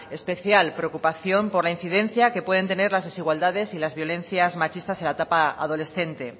especial preocupación por la incidencia que pueden tener las desigualdades y las violencias machistas en la etapa adolescente